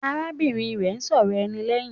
Arábìnrin rẹ̀ ń sọ̀rọ̀ ẹni lẹ́hìn.